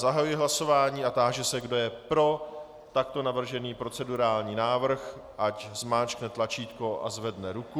Zahajuji hlasování a táži se, kdo je pro takto navržený procedurální návrh, ať zmáčkne tlačítko a zvedne ruku.